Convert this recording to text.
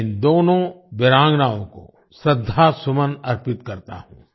मैं इन दोनों वीरांगनाओं को श्रद्धासुमन अर्पित करता हूँ